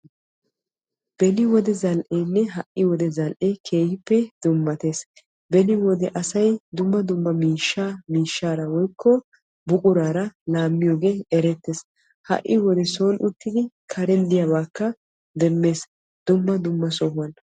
Beni wode zal'eenne ha"i wode zal'ee keehippe dummatees. Beni wode asay dumma dumma miishshaa miishshaara woykko buquraara laammiyoogee erettees. Ha"i wode soon uttidi karen diyaabaakka demmees. Dumma dumma sohuwan.